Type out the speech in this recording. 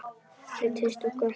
Þeir treysta okkur ekki lengur.